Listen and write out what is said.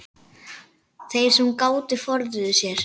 Þeir sem gátu forðuðu sér.